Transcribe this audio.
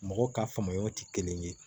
Mɔgɔw ka faamuyaw tɛ kelen ye